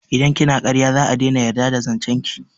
Idan kina karya za'a daina yarda da zancen ki